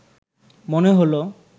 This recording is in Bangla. মনে হলো